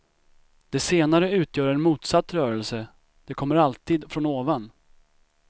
De senare utgör en motsatt rörelse, de kommer alltid från ovan.